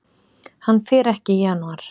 Hann fer ekki í janúar.